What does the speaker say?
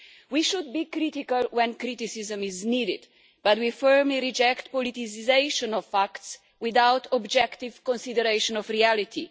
We should be critical when criticism is needed, but we firmly reject the politicisation of facts without objective consideration of reality.